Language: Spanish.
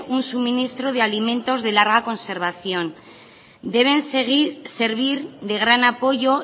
un suministro de alimentos de larga conservación isiltasuna mesedez deben servir de gran apoyo